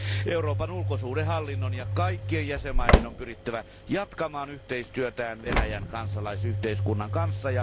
Euroopan ulkosuhdehallinnon ja kaikkien jäsenmaiden on pyrittävä jatkamaan yhteistyötään Venäjän kansalaisyhteiskunnan kanssa.